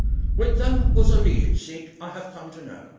With them was a leading Sikh I have come to know.